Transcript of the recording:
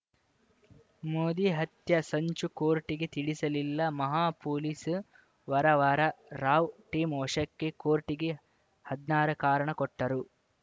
ಮೋದಿ ಹತ್ಯೆ ಸಂಚು ಕೋರ್ಟಿಗೆ ತಿಳಿಸಲಿಲ್ಲ ಮಹಾ ಪೊಲೀಸ್ ವರವರ ರಾವ್‌ ಟೀಂ ವಶಕ್ಕೆ ಕೋರ್ಟಿಗೆ ಹದ್ನಾರ ಕಾರಣ ಕೊಟ್ಟರು